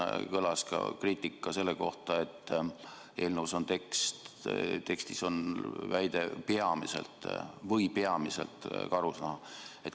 Siin kõlas ka kriitika selle kohta, et eelnõu tekstis on kirjas: keelatud on nende loomade pidamine peamiselt karusnaha tootmise eesmärgil.